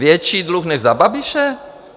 Větší dluh než za Babiše?